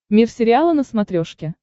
мир сериала на смотрешке